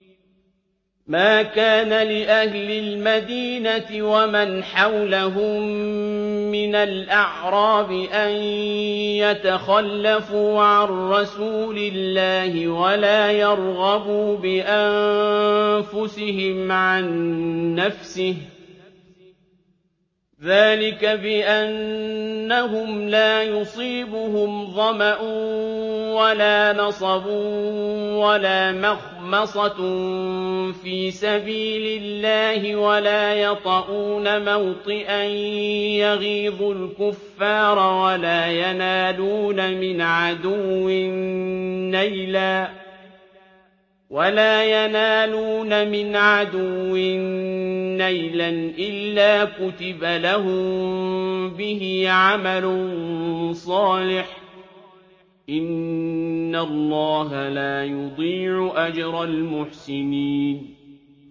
مَا كَانَ لِأَهْلِ الْمَدِينَةِ وَمَنْ حَوْلَهُم مِّنَ الْأَعْرَابِ أَن يَتَخَلَّفُوا عَن رَّسُولِ اللَّهِ وَلَا يَرْغَبُوا بِأَنفُسِهِمْ عَن نَّفْسِهِ ۚ ذَٰلِكَ بِأَنَّهُمْ لَا يُصِيبُهُمْ ظَمَأٌ وَلَا نَصَبٌ وَلَا مَخْمَصَةٌ فِي سَبِيلِ اللَّهِ وَلَا يَطَئُونَ مَوْطِئًا يَغِيظُ الْكُفَّارَ وَلَا يَنَالُونَ مِنْ عَدُوٍّ نَّيْلًا إِلَّا كُتِبَ لَهُم بِهِ عَمَلٌ صَالِحٌ ۚ إِنَّ اللَّهَ لَا يُضِيعُ أَجْرَ الْمُحْسِنِينَ